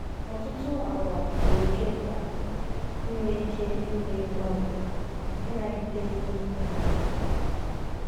“ Ọtụtụ àgwà dị oké mkpa: inwe ike ime mgbanwe, ịnagide ihe, na ndidi.